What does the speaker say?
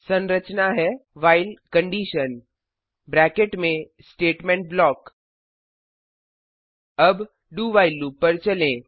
संरचना है while bracket में स्टेटमेंट ब्लॉक अब dowhile लूप पर चलें